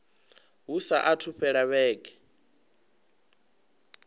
hu saathu u fhela vhege